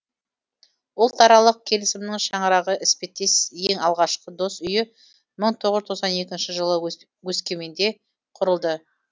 ұлтаралық келісімнің шаңырағы іспеттес ең алғашқы дос үйі мың тоғыз жүз тоқсан екінші жылы өскеменде құрылды